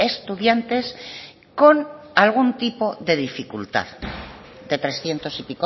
estudiantes con algún tipo de dificultad de trescientos y